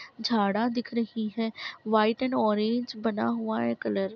झाड़ा दिख रही है वाइट एंड ऑरेंज बना हुआ है कलर ।